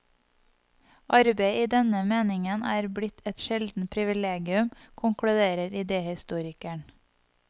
Arbeid i denne meningen er blitt et sjeldent privilegium, konkluderer idehistorikeren.